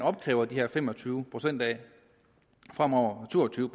opkræver de her fem og tyve procent af fremover to og tyve